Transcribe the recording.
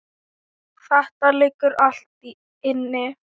Þetta liggur allt inni